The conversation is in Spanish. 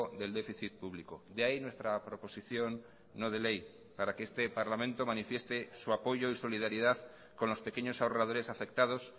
del déficit público de ahí nuestra proposición no de ley para que este parlamento manifieste su apoyo y solidaridad con los pequeños ahorradores afectados